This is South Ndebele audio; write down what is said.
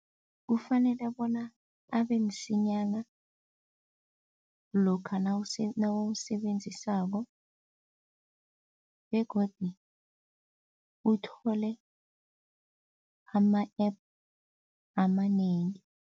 Kufanele bona abe msinyana lokha nawuwusebenzisako begodu uthole ama-app amanengi.